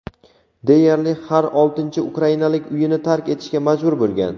deyarli har oltinchi ukrainalik uyini tark etishga majbur bo‘lgan.